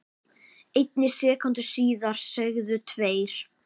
einni sekúndu síðar segðu tveir